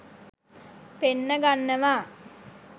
පෙන්න ගන්නවා